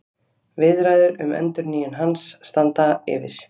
Viðræður um endurnýjun hans standa yfir